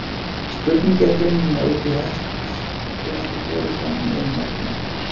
spurning er greinilega út í hött og ekki borin fram í einlægni